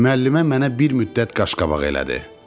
Müəllimə mənə bir müddət qaşqabaq elədi.